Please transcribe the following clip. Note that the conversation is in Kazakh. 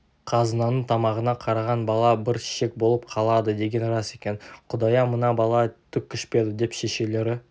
қазынаның тамағына қараған бала бір шек болып қалады деген рас екен құдая мына бала түк ішпеді деп шешелері